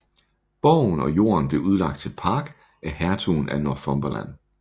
Borgen og jorden blev udlagt til park af hertugen af Northumberland